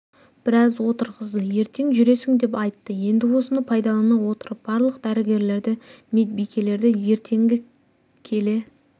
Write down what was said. біраз отырғызды ертең жүресің деп айтты енді осыны пайдалана отырып барлық дәрігерлерді медбикелерді ертеңгі келе